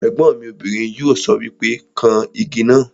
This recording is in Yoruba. Ègbọ́n mi obìnrin yóò sọ wípé 'kan Igi náà '